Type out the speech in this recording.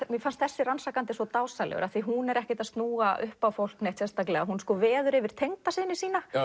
mér fannst þessi rannsakandi svo dásamlegur af því hún er ekkert að snúa upp á fólk sérstaklega hún veður yfir tengdasyni sína